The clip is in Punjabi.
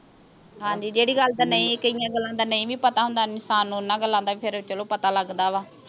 ਹਾਂਜੀ ਜਿਹੜੀ ਗੱਲ ਦਾ ਨਹੀਂ ਕਈਆਂ ਗੱਲਾਂ ਦਾ ਨਹੀਂ ਵੀ ਪਤਾ ਹੁੰਦਾ ਇਨਸਾਨ ਨੂੰ ਓਹਨਾਂ ਗੱਲਾਂ ਦਾ ਵੀ ਚਲੋ ਪਤਾ ਲੱਗਦਾ ਵਾ